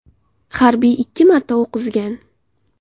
Harbiy ikki marta o‘q uzgan.